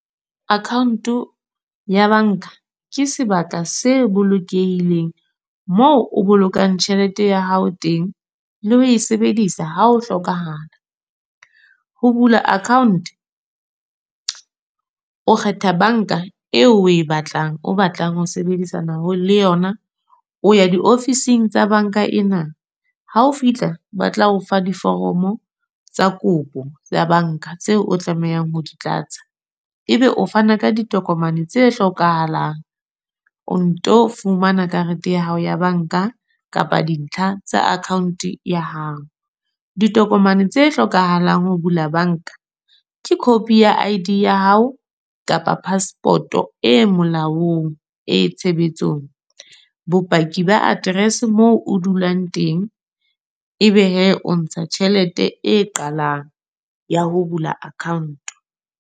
Account ya bank-a. Ke sebaka se bolokehileng, moo o bolokang tjhelete ya hao teng. Le ho e sebedisa ha o hlokahala. Ho bula account, o kgetha bank-a eo o e batlang, o batlang ho sebedisana le yona. O ya di ofising tsa bank-a ena, ha o fihla ba tla o fa diforomo tsa kopo ya bank-a. Tseo o tlamehang ho di tlatsa. E be o fana ka ditokomane tse hlokahalang, o nto fumana karete ya hao ya bank-a. Kapa dintlha tsa account ya hao. Ditokomane tse hlokahalang ho bula bank-a. Ke copy ya I_D ya hao kapa passport-o e molaong, e tshebetsong. Bopaki ba address moo o dulang teng. E be he o ntsha tjhelete e qalang ya ho bula account.